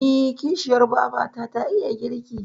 Eh, kishiyar babata ta iya girki.